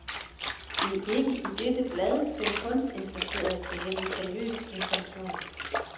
Det er ikke i dette blad, den kunstinteresserede kan hente seriøs information.